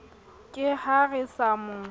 ke ha re sa mo